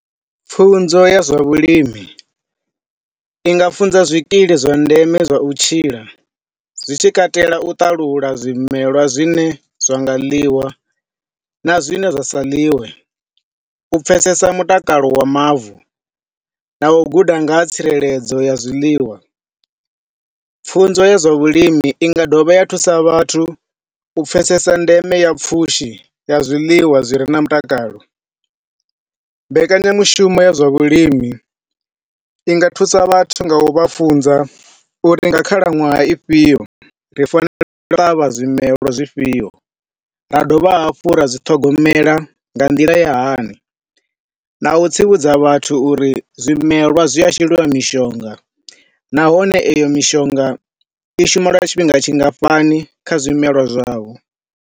Pfunzo ya zwa vhulimi, ndi nga funza zwikili zwa ndeme zwa u tshila zwi tshi katela u ṱalula zwimelwa zwine zwa nga ḽiwa na zwine zwa sa ḽiwe. U pfesesa mutakalo wa mavu na u guda nga ha tsireledzo ya zwiḽiwa. Pfunzo ya zwa vhulimi inga dovha ya thusa vhathu u pfesesa ndeme ya pfushi ya zwiḽiwa zwi re na mutakalo. Mbekanyamushumo ya zwavhulimi inga thusa vhathu nga u vha funza uri nga khalaṅwaha ifhio ri fanela u ṱavha zwimelwa zwi fhio ra dovha hafhu ra zwiṱhogomela nga nḓila ya hani. Na u tsivhudza vhathu uri zwimelwa zwi a sheliwa mishonga nahone iyo mishonga ishuma lwa tshifhinga tshingafhani kha zwimelwa zwau.